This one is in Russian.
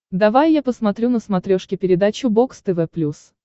давай я посмотрю на смотрешке передачу бокс тв плюс